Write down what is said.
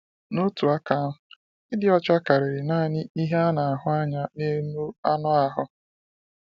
N’otu aka ahụ, ịdị ọcha karịrị naanị ihe a na-ahụ anya n’elu anụ ahụ.